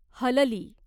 हलली